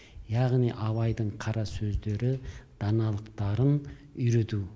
яғни абайдың қара сөздері даналықтарын үйрету